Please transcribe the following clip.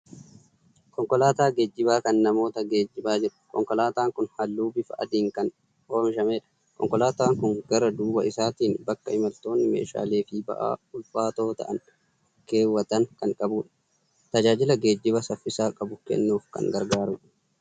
Konkolaataa geejjibaa kan namoota geejjibaa jiru. Konkolaataan kun halluu bifa adiin kan oomishamedha. Konkolaataan kun gara duuba isaatiin bakka imaltoonni meeshaalee fi ba'aa ulfaatoo ta'an keewwatan kan qabudha. Tajaajila geejjibaa saffisa qabu kennuuf kan gargaarudha.